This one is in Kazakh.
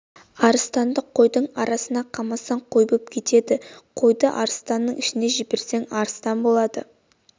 арыстанды қойдың арасына қамасаң қой боп кетеді қойды арыстанның ішіне жіберсең арыстан болады